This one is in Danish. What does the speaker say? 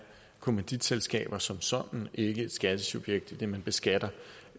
kommanditselskaber som sådan ikke skattesubjekt idet man beskatter